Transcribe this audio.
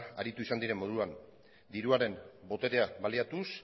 aditu izan diren moduan diruaren botereak baliatuz